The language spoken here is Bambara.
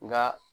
Nka